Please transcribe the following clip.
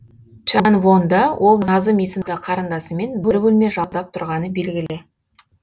чанвонда ол назым есімді қарындасымен бір бөлме жалдап тұрғаны белгілі